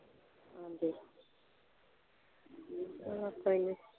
ਹਾਂਜੀ